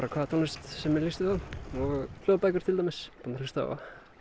tónlist sem mér líst vel á hljóðbækur er til dæmis búinn að hlusta á